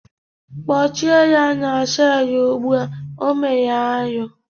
Kpọchie ya n'selu ụgbụa, ọ mere arụ!